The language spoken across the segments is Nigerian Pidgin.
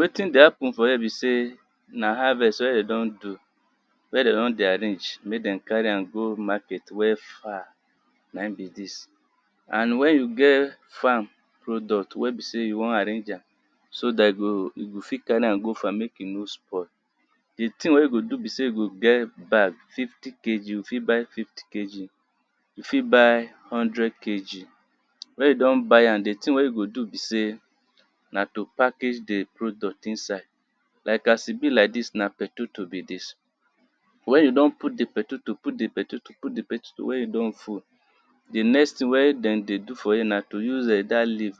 Wetin dey happe n for here be sey na harvest wen dem do n do wen dem dey arrange make dem carry am go market wey far na im be dis. And wen you get farm product wen be sey you wan arrange am so dat you go you go fit carry am go far make e no spoil di thing wen you go do be sey you go get bag fifty kg you go get fifty kg, you fit buy hundred kg, wen you don buy am di thing wen you go do be sey, na to package di product inside like as e eb like dis na potato be dis. Wen you don put di potato put di potato put di potato wen e don full, di next thing wen dem dey do for here na use [urn] dat leave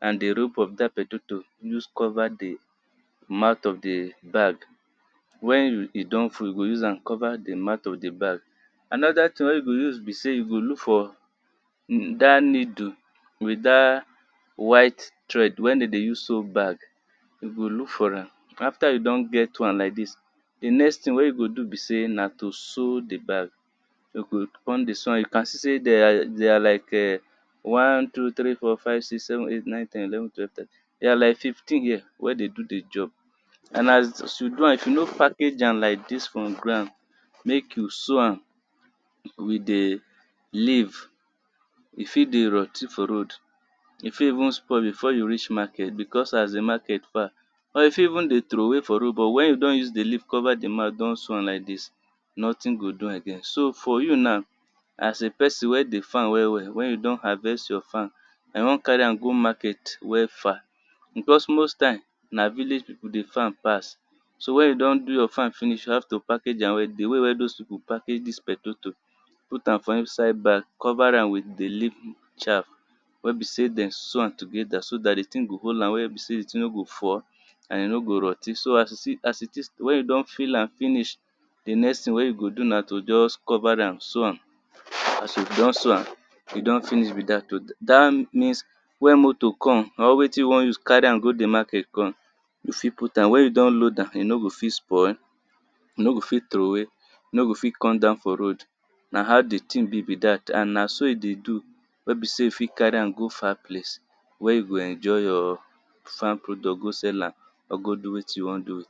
and di rope of dat potato use cover di mouth of di bag, wen e don full you go use am cover di mouth of di bag, another thing wey you go do be sey, you go look for dat needle with dat white thread wem den dey use sew bag, you go look for am after you don get am di next thing wen you go do be sey, na to sew do bag, you go come start to dey sew am, you can see sey there are like there are one two three four five six seven eight nine ten eleven twelve they are like fifteen here, wen dey do di job and as you do am if you no package am like dis on ground make you sew am with di leave, e fit dey rot ten for roa d, e fit even spo il be fore you reach market because as di market far, or e fit even dey troway for road, but wen you don use di leave cover di mouth, don sew am like dis nothing go do am again, so for you na as a person wen dey farm well well wen you don harvest your farm den wan carry am go market wen far, because most time na village people dey farm pass so wen you don do your farm finish you have to package am well di way wen all dis people package dis potato, put am for inside bag cover am with di leave dem wen be sey dem sew am together, so dat di thing go hold am well wen be sey di thing nor go fall, and e no go rot ten so as it is, as it wen you don fill am finish, di next thing wen you go do na to just cover am sew am, if you don sew am e don finish be dat oh, dat means wen motor come or wetin you wan use carry am go di market come you fit put am, wen you don load am e no go fit spoil, e no go fit troway, e no go fit come down for road, na how di thing be be dat and na so e dey do wen be sey you fit carry am go far place, wen you go emjoy you farm product go sell am, or go do wetin you wan do.